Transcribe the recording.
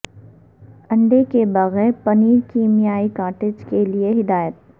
انڈے کے بغیر پنیر کیمیائی کاٹیج کے لئے ہدایت